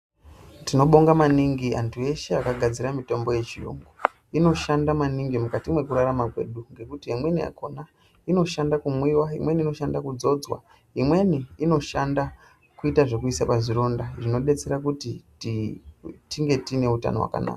Tinobonga maningi anthu eshe akagadzire mitombo yechiyungu, inoshanda maningi mukati mekurarama kwedu ngekuti imweni yakhona inoshanda kumwiwa, imweni inoshanda kudzodzwa, imweni inoshanda kuita zvekuiswa pazvironda zvinodetsera kuti tinge tiine utano hwakanaka.